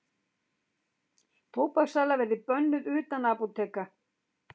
Tóbakssala verði bönnuð utan apóteka